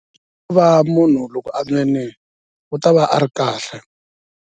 Hikuva loko munhu a nwini u ta va a ri kahle.